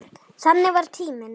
Þannig var tíminn.